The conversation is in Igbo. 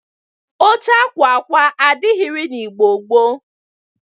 Oche akwa akwa adịrịghị n'Igbo gboo.